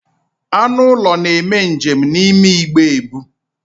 Anụ ụlọ na-eme njem n'ime igbe ebu.